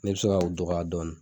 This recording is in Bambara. Ne bi se ka u dɔgɔya dɔɔnin